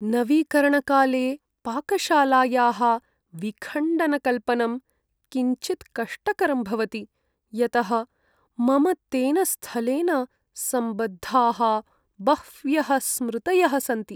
नवीकरणकाले पाकशालायाः विखण्डनकल्पनं किञ्चित् कष्टकरं भवति, यतः मम तेन स्थलेन सम्बद्धाः बह्व्यः स्मृतयः सन्ति।